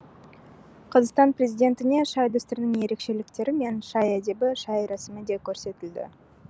қазақстан президентіне шай дәстүрінің ерекшеліктері мен шай әдебі шай рәсімі де көрсетілді